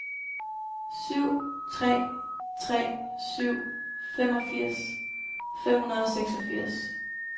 syv tre tre syv femogfirs fem hundrede og seksogfirs